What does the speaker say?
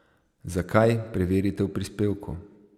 Zakaj, preverite v prispevku ...